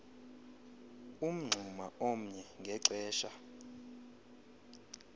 umngxuma omnye ngexesha